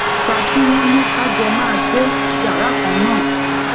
fa ki wón ní ká jọ máa gbé yàrá kan náà